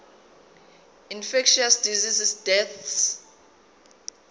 infectious disease deaths